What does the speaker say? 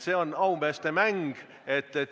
See on aumeeste mäng.